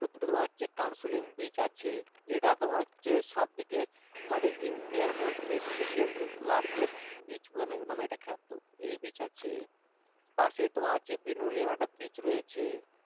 একটু দূরে তোমার কানসুলিন beach আছে যেটা তোমার হচ্ছে সবদিকে আমাদের India র মধ্যে second largest beach মানে নামে এটা বিখ্যাত এই beach আছে পাশে তোমার হচ্ছে একটা beach রয়েছে